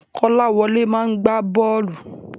Kọ́láwọlé máa gbá bọ́ọ̀lù.